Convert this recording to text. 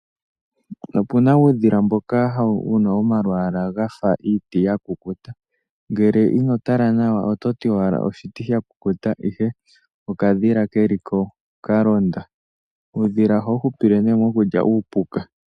Opuna uudhila mboka wuna omalwaala gafa iiti ya kukuta ngele ino tala nawa ototi owala oshiti sha kukuta ihe okadhila keliko kalonda . Uudhila ohawu hupile nee mokulya iipuka.